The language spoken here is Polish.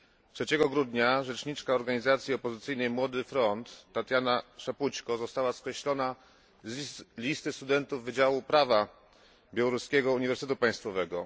3 grudnia rzeczniczka organizacji opozycyjnej Młody Front, Tatiana Szapućko, została skreślona z listy studentów Wydziału Prawa Białoruskiego Uniwersytetu Państwowego.